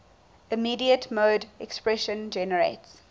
immediate mode expression generates